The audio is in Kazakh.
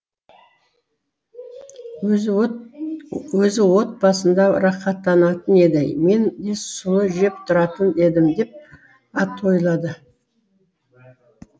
өзі отбасында рахаттанатын еді мен де сұлы жеп тұратын едім деп ат ойлады